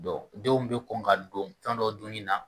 denw bɛ kɔn ka don fɛn dɔw dunni na.